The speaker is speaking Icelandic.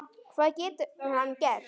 Hvað getur hann gert?